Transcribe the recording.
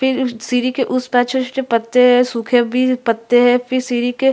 फिर सीरी के उस पार छोटे-छोटे पत्ते है सूखे भी पत्ते है फिर सीरी के--